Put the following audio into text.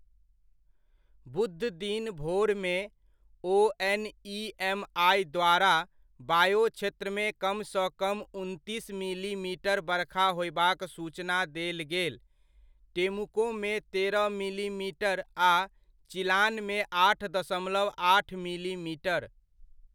बुधदिन भोरमे, ओएनइएमआइ द्वारा, बायो क्षेत्रमे कमसँ कम उनतीस मिलीमीटर बरखा होयबाक सूचना देल गेल, टेमुकोमे तेरह मिलीमीटर आ चिलानमे आठ दशमलव आठ मिलीमीटर।